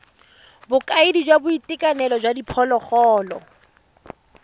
bokaedi jwa boitekanelo jwa diphologolo